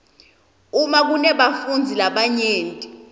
uma kunebafundzi labanyenti